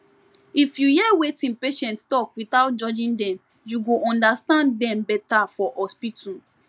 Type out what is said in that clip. if you hear wetin patient talk without judging dem you go understand dem better for hospital